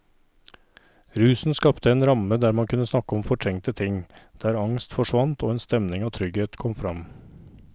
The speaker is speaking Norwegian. Rusen skapte en ramme der man kunne snakke om fortrengte ting, der angst forsvant og en stemning av trygghet kom fram.